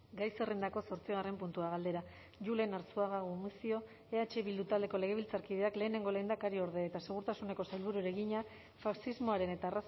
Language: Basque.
gai zerrendako zortzigarren puntua galdera julen arzuaga gumuzio eh bildu taldeko legebiltzarkideak lehenengo lehendakariorde eta segurtasuneko sailburuari egina faxismoaren eta